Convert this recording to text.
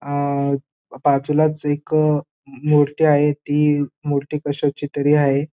अ बाजूलाच एक मूर्ती आहे. ती मूर्ती कशाची तरी आहे.